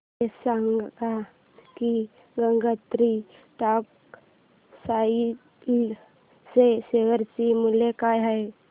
हे सांगा की गंगोत्री टेक्स्टाइल च्या शेअर चे मूल्य काय आहे